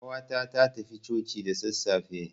Ƙawata ta tafi coci da sassafe.